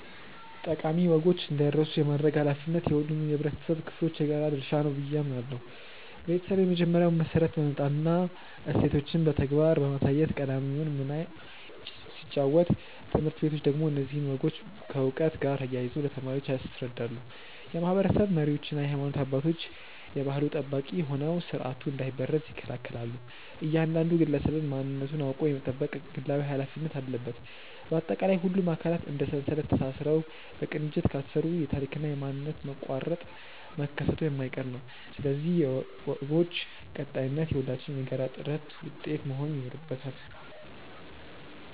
ጠቃሚ ወጎች እንዳይረሱ የማድረግ ኃላፊነት የሁሉም የኅብረተሰብ ክፍሎች የጋራ ድርሻ ነው ብዬ አምናለሁ። ቤተሰብ የመጀመሪያውን መሠረት በመጣልና እሴቶችን በተግባር በማሳየት ቀዳሚውን ሚና ሲጫወት፣ ትምህርት ቤቶች ደግሞ እነዚህን ወጎች ከዕውቀት ጋር አያይዘው ለተማሪዎች ያስረዳሉ። የማኅበረሰብ መሪዎችና የሃይማኖት አባቶች የባሕሉ ጠባቂ ሆነው ሥርዓቱ እንዳይበረዝ ይከላከላሉ፤ እያንዳንዱ ግለሰብም ማንነቱን አውቆ የመጠበቅ ግላዊ ኃላፊነት አለበት። ባጠቃላይ፣ ሁሉም አካላት እንደ ሰንሰለት ተሳስረው በቅንጅት ካልሠሩ የታሪክና የማንነት መቋረጥ መከሰቱ የማይቀር ነው፤ ስለዚህ የወጎች ቀጣይነት የሁላችንም የጋራ ጥረት ውጤት መሆን ይኖርበታል።